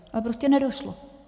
A prostě nedošlo.